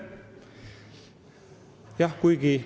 Aitäh!